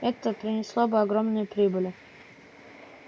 это принесло бы огромные прибыли